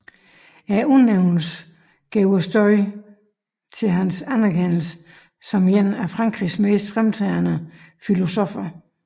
Udnævnelsen gav stødet til hans anerkendelse som en af Frankrigs mest fremtrædende filosoffer